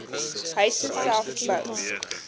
huise self bou